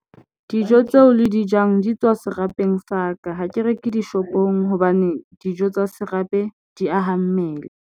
Dijo tseo le di jang di tswa serapeng sa ka. Ha ke reke dishopong hobane dijo tsa serapeng di aha mmele.